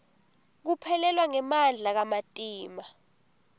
kuphelelwa ngemandla kamatima